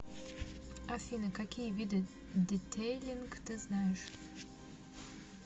афина какие виды детейлинг ты знаешь